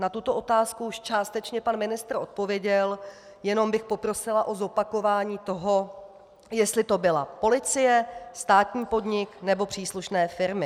Na tuto otázku už částečně pan ministr odpověděl, jenom bych poprosila o zopakování toho, jestli to byla policie, státní podnik, nebo příslušné firmy.